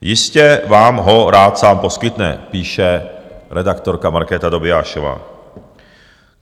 Jistě vám ho rád sám poskytne, píše redaktorka Markéta Dobiášová.